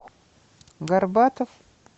горбатов